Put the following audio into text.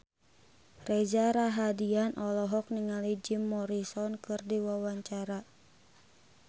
Reza Rahardian olohok ningali Jim Morrison keur diwawancara